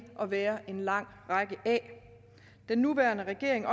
at være en lang række af den nuværende regering